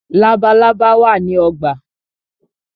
Labalábá wá ní ogbà.